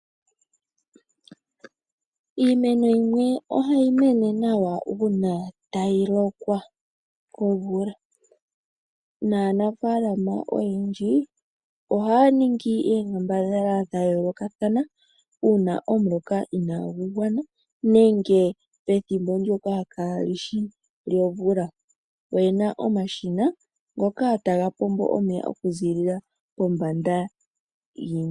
Iimeno yimwe ohayi mene nawa uuna tayi lokwa komvula, naanafaalama oyendji ohaya ningi oonkambadhala dhayoolokathana uuna omuloka inaagu gwana nenge pethimbo ndyoka kaali shi lyomvula. Oyena omashina ngoka taga pombo omeya okuziilila pombanda.